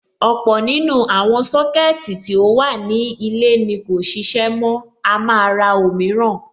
Ọ̀pọ̀ nínú àwọn Sọ́kẹ̀tì tí ó wà ní ilé ni kò ṣiṣẹ́ mọ́, a máa ra òmíràn.